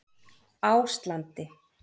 Áslandi